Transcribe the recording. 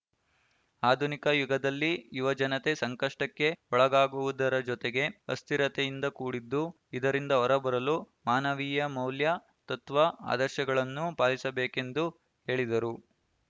ಆಧುನಿಕ ಯುಗದಲ್ಲಿ ಯುವಜನತೆ ಸಂಕಷ್ಟಕ್ಕೆ ಒಳಗಾಗುವುದರ ಜೊತೆಗೆ ಅಸ್ಥಿರತೆಯಿಂದ ಕೂಡಿದ್ದು ಇದರಿಂದ ಹೊರಬರಲು ಮಾನವೀಯ ಮೌಲ್ಯ ತತ್ವ ಆದರ್ಶಗಳನ್ನು ಪಾಲಿಸಬೇಕೆಂದು ಹೇಳಿದರು